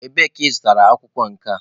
Ebee ka ị zụtara akwụkwọ nke a?